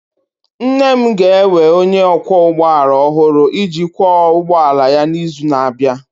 Nne m ga-ewe onye ọkwọ ụgbọ ala ọhụrụ iji kwọ ụgbọ ala ya n'izu na-abịa.